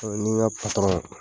n ni n ka